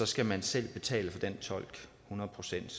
skal man selv betale hundrede procent